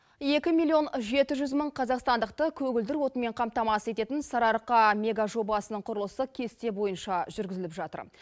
екі миллион жеті жүз мың қазақстандықты көгілдір отынмен қамтамасыз ететін сарыарқа мега жобасының құрылысы кесте бойынша жүргізіліп жатыр